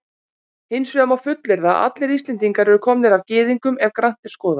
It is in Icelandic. Hins vegar má fullyrða að allir Íslendingar eru komnir af Gyðingum ef grannt er skoðað.